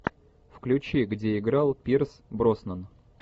включи где играл пирс броснан